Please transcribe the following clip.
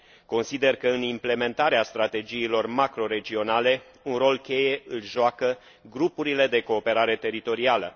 Consider că în implementarea strategiilor macroregionale un rol cheie îl joacă grupurile de cooperare teritorială.